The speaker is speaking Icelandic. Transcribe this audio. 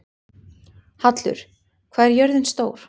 Hallur, hvað er jörðin stór?